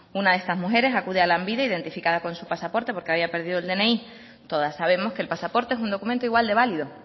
una de estas mujeres acude a lanbide identificada con su pasaporte porque había perdido el dni todas sabemos que el pasaporte es un documento igual de valido